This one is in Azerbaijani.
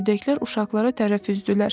Ördəklər uşaqlara tərəf üzdülər.